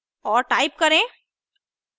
और type करें